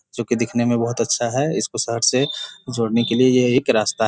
जो कि दिखने में बहुत अच्छा है इसको शहर से जोड़ने के लिए ये एक रास्ता --